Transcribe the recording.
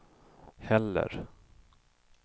heller